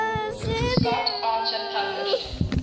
scott archer published